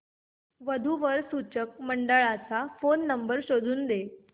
वधू वर सूचक मंडळाचा फोन नंबर शोधून दे